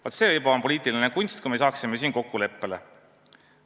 Vaat, see on juba poliitiline kunst, kui me saaksime siin kokkuleppele.